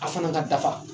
A fana ka dafa